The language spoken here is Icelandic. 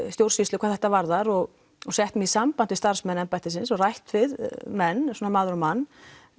stjórnsýslu hvað þetta varðar og sett mig í samband við starfsmenn embættisins og rætt við menn svona maður á mann